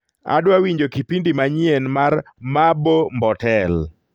adwa winjo kipindi manyien mar mabo mbotel